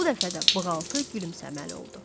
Bu dəfə də bığaltı gülümsəməli oldu.